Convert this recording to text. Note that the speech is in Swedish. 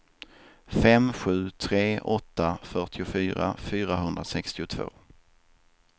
fem sju tre åtta fyrtiofyra fyrahundrasextiotvå